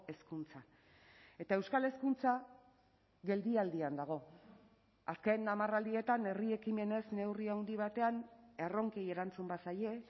hezkuntza eta euskal hezkuntza geldialdian dago azken hamarraldietan herri ekimenez neurri handi batean erronkei erantzun bazaie